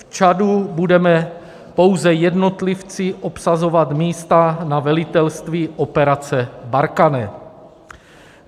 V Čadu budeme pouze jednotlivci obsazovat místa na velitelství operace Barkhane.